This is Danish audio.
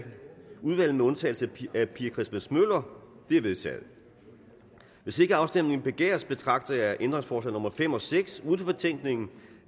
udvalget med undtagelse af pia christmas møller de er vedtaget hvis ikke afstemning begæres betragter jeg ændringsforslag nummer fem og seks uden for betænkningen